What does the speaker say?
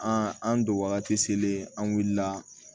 An an don wagati sele an wulila